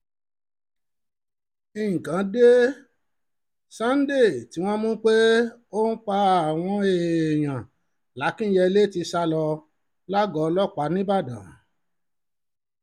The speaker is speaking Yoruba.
nǹkan dé sunday tí um wọ́n mú pé ó ń pa àwọn um èèyàn làkìnyẹlé ti sá lọ lágọ̀ọ́ ọlọ́pàá ńìbàdàn